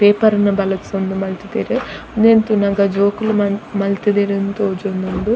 Paper ನು ಬಳಸೊಂದು ಮಲ್ತುದೆರ್ ಉಂದೆನ್ ತೂನಗ ಜೋಕುಲು ಮಲ್ತು ಮಲ್ತುದೆರಿಂದ್ ತೋಜೊಂದುಂಡು.